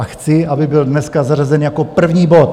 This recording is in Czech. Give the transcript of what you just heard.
A chci, aby byl dneska zařazen jako první bod.